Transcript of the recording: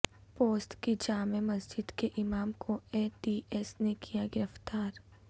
پوسد کی جامع مسجد کے امام کو اے ٹی ایس نےکیا گرفتار